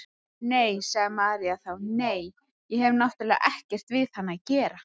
Nei, sagði María þá, nei, ég hef náttúrlega ekkert við hann að gera.